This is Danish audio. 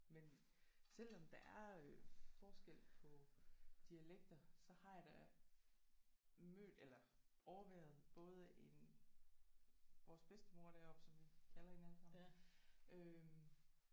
Men selvom der er øh forskel på dialekter så har jeg da mødt eller overværet både en vores bedstemor deroppe som vi kalder hende alle sammen øh